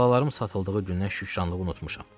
Balalarım satıldığı gündən şükranlığı unutmuşam.